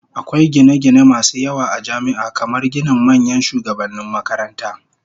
Akwai gine-gine masu yawa a jami'a, kamar ginin manyan shugabannin makaranta.